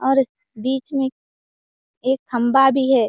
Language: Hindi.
और बीच में एक खंभा भी है।